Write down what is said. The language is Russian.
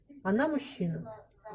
она мужчина